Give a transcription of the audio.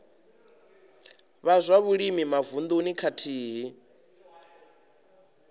vha zwa vhulimi mavununi khathihi